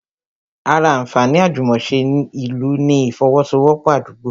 Ará anfaani àjùmòse ni ìlú ni ifowosowopo Àdúgbo